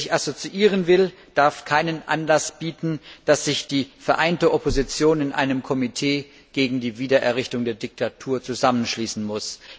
Wer sich assoziieren will, darf keinen Anlass bieten, dass sich die vereinte Opposition in einem Komitee gegen die Wiedererrichtung der Diktatur zusammenschließen muss.